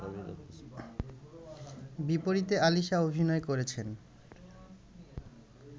বিপরীতে আলিশা অভিনয় করেছেন